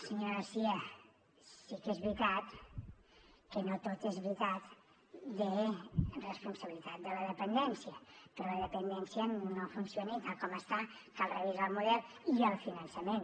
senyora garcía sí que és veritat que no tot és veritat en la responsabilitat de la dependència però la dependència no funciona i tal com està cal revisar el model i el finançament